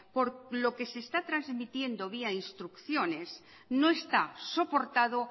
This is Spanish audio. por lo que se está transmitiendo vía instrucciones no está soportado